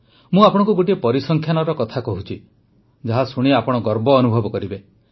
ମୁଁ ଆପଣଙ୍କୁ ଗୋଟିଏ ପରିସଂଖ୍ୟାନ କଥା କହୁଛି ଯାହା ଶୁଣି ଆପଣ ଗର୍ବ ଅନୁଭବ କରିବେ